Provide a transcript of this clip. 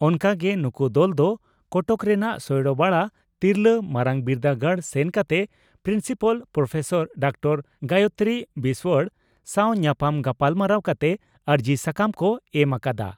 ᱚᱱᱠᱟ ᱜᱮ ᱱᱩᱠᱩ ᱫᱚᱞ ᱫᱚ ᱠᱚᱴᱚᱠ ᱨᱮᱱᱟᱜ ᱥᱚᱭᱲᱚᱵᱟᱲᱟ ᱛᱤᱨᱞᱟᱹ ᱢᱟᱨᱟᱝᱵᱤᱨᱫᱟᱹᱜᱟᱲ ᱥᱮᱱ ᱠᱟᱛᱮ principal professor doctor Gayatri Biswal ᱥᱟᱣ ᱧᱟᱯᱟᱢ ᱜᱟᱞᱢᱟᱨᱟᱣ ᱠᱟᱛᱮ ᱟᱹᱨᱡᱤ ᱥᱟᱠᱟᱢ ᱠᱚ ᱮᱢ ᱟᱠᱟᱫᱼᱟ ᱾